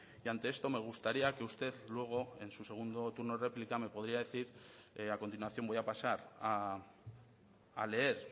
y ante esto me gustaría que usted luego en su segundo turno de réplica me podría decir a continuación voy a pasar a leer